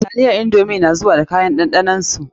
Taliyan indomi na zuwa da kayan ɗanɗanon su.